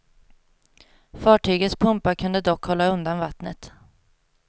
Fartygets pumpar kunde dock hålla undan vattnet.